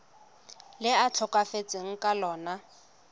le a tlhokafetseng ka lona